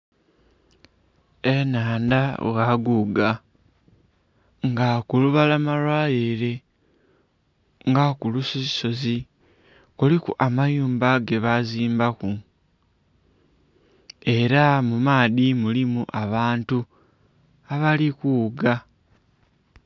Ennhandha bwaguuga. Nga kulubalama lwayo ele nga ku lusozisozi, kuliku amayumba ge bazimbaku. Ela mu maadhi mulimu abantu abali kughuga.